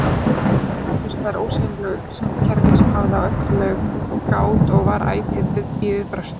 Innbyrðis tengdust þær ósýnilegu upplýsingakerfi, sem hafði á öllu gát og var ætíð í viðbragðsstöðu.